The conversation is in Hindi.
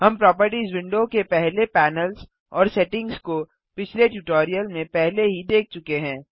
हम प्रोपर्टिज विंडो के पहले पैनल्स और सेटिंग्स को पिछले ट्यूटोरियल में पहले ही देख चुके हैं